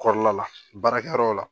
Kɔrɔla la baarakɛ yɔrɔ la